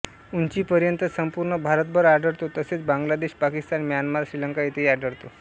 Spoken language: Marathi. उंचीपर्यंत संपूर्ण भारतभर आढळतो तसेच बांगलादेश पाकिस्तान म्यानमार श्रीलंका येथेही आढळतो